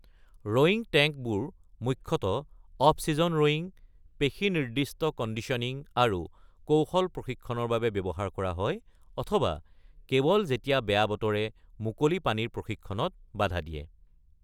ৰয়িং টেংকবোৰ মুখ্যতঃ off season rowing, পেশী-নিৰ্দিষ্ট কণ্ডিশ্যনিং আৰু কৌশল প্ৰশিক্ষণৰ বাবে ব্যৱহাৰ কৰা হয় অথবা কেৱল যেতিয়া বেয়া বতৰে মুকলি পানীৰ প্ৰশিক্ষণত বাধা দিয়ে৷